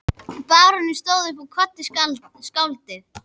Baróninn stóð upp og kvaddi skáldið.